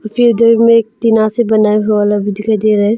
फिर उधर में एक टीना से बना हुआ दिखाई दे रहा है।